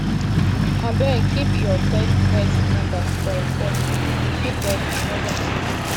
abeg keep your pet vet number for phone you fit get emergency